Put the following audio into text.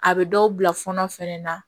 A bɛ dɔw bila fɔnɔ fɛnɛ na